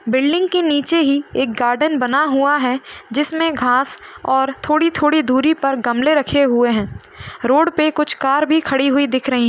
Building के नीचे ही एक गार्डेन बना हुआ हैं। जिसमे घास और थोड़ी-थोड़ी दुरी पर गमले रखे हुए हैं। रोड पे कुछ कार भी खड़ी हुई दिख रहीं --